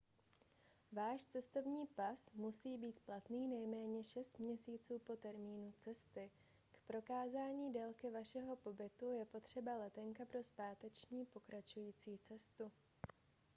váš cestovní pas musí být platný nejméně 6 měsíců po termínu cesty. k prokázání délky vašeho pobytu je potřeba letenka pro zpáteční/pokračující cestu